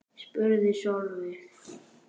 spurði Sóley